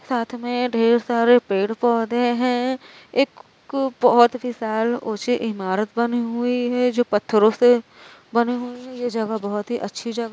साथ मे ढेर सारे पेड़ पौधे हैं। एक बहुत विशाल ऊँची इमारत बनी हुई है जो पत्थरों से बनी हुई है। ये जगह बहुत ही अच्छी जगह --